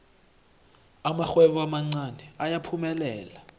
amarhwebo amancani ayaphumelela